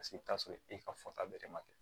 Paseke i bi t'a sɔrɔ e ka fɔta bɛrɛ ma kɛ